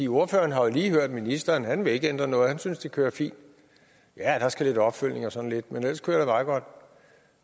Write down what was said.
ordføreren har jo lige hørt ministeren og han vil ikke ændre noget og han synes det kører fint ja der skal være lidt opfølgning og sådan noget men ellers kører